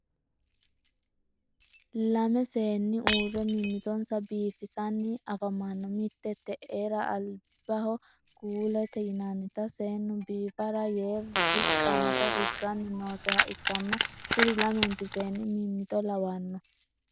lamme seeni uure mimitonsa biifisanni afamanno mitte te'era alibaho kuulete yinannita seenu biifara yee riqanota riggani nooseha ikanna kuri lammenti seenni mimito lawanno.